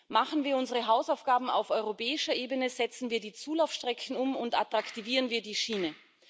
Machen wir unsere Hausaufgaben auf europäischer Ebene, setzen wir die Zulaufstrecken um und attraktivieren wir die Schiene!